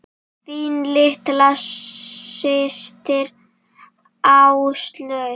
Þín litla systir, Áslaug.